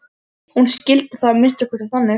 Hún skildi það að minnsta kosti þannig.